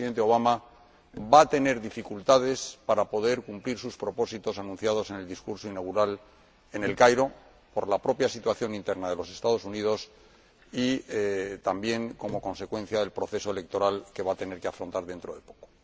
donde el Presidente Obama va a tener dificultades para cumplir sus propósitos anunciados en el discurso inaugural en El Cairo, por la propia situación interna de los Estados Unidos y también como consecuencia del proceso electoral que va a tener que afrontar dentro de poco.